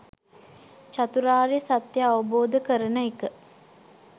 චතුරාර්ය සත්‍ය අවබෝධ කරන එක